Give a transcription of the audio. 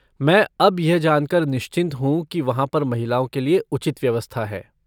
मैं अब यह जानकर निश्चिंत हूँ कि वहाँ पर महिलाओं के लिए उचित व्यवस्था है।